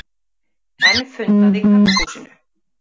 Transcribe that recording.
Enn fundað í Karphúsinu